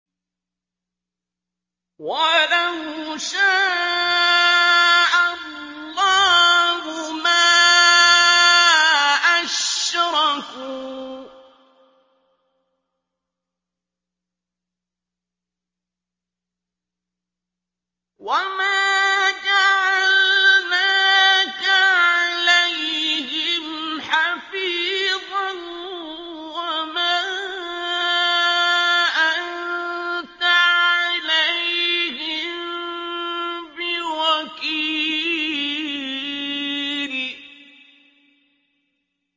وَلَوْ شَاءَ اللَّهُ مَا أَشْرَكُوا ۗ وَمَا جَعَلْنَاكَ عَلَيْهِمْ حَفِيظًا ۖ وَمَا أَنتَ عَلَيْهِم بِوَكِيلٍ